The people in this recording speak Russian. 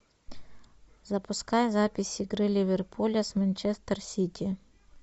запускай запись игры ливерпуля с манчестер сити